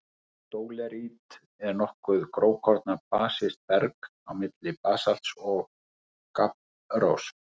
Dólerít er nokkuð grófkorna basískt berg- á milli basalts og gabbrós.